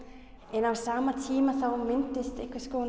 en á sama tíma myndast